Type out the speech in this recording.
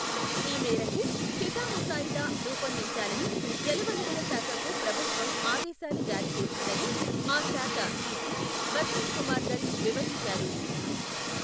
ఈ మేరకు చిఠాముసాయిదా రూపొందించాలని, జలవనరులశాఖకు ప్రభుత్వం, ఆదేశాలు జారీ చేసిందని, ఆ శాఖ ఇసి బసంతకుమార్ ధళ్, వివరించారు.